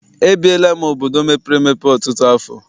Ebiela m obodo mepere emepe ọtụtụ afọ.